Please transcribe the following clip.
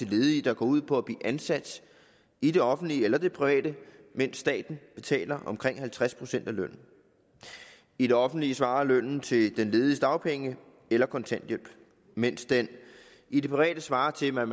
ledige der går ud på at blive ansat i det offentlige eller det private mens staten betaler omkring halvtreds procent af lønnen i det offentlige svarer lønnen til den lediges dagpenge eller kontanthjælp mens den i det private svarer til hvad